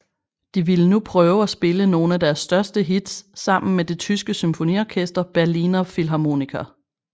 De ville nu prøve at spille nogen af deres største hits sammen med det tyske symfoniorkester Berliner Philharmoniker